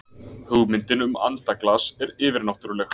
Hugmyndin um andaglas er yfirnáttúrleg.